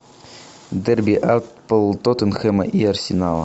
дерби апл тоттенхэма и арсенала